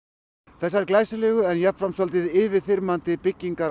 þessar yfirþyrmandi byggingar